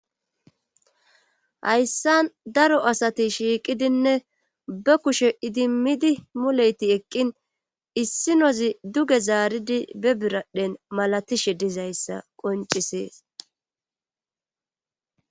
hayssan daro asati shiiqidinne ba kushe idimmidi muleyti eqqin issinozi duge zaaridi be biradhen malatishe dizayssa qoncisees